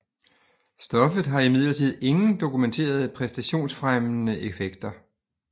Stoffet har imidlertid ingen dokumenterede præstationsfremmende effekter